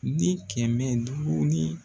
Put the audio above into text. Ni kɛmɛ duuru ni